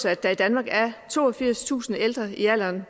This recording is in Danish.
at der i danmark er toogfirstusind ældre i alderen